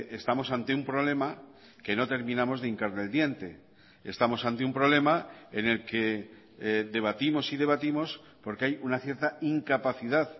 estamos ante un problema que no terminamos de hincarle el diente estamos ante un problema en el que debatimos y debatimos porque hay una cierta incapacidad